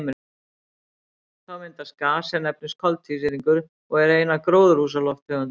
Þá myndast gas sem nefnist koltvísýringur og er ein af gróðurhúsalofttegundunum.